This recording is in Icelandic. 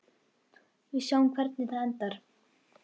Við sjáum hvernig það endar.